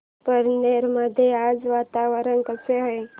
पारनेर मध्ये आज वातावरण कसे आहे